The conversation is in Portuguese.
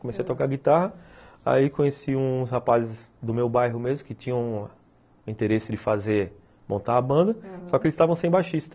Comecei a tocar guitarra, aí conheci uns rapazes do meu bairro mesmo, que tinham o interesse de fazer, montar a banda, aham, só que eles estavam sem baixista.